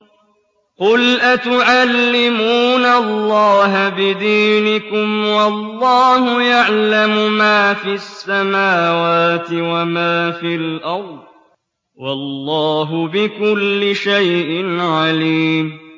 قُلْ أَتُعَلِّمُونَ اللَّهَ بِدِينِكُمْ وَاللَّهُ يَعْلَمُ مَا فِي السَّمَاوَاتِ وَمَا فِي الْأَرْضِ ۚ وَاللَّهُ بِكُلِّ شَيْءٍ عَلِيمٌ